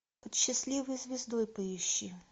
под счастливой звездой поищи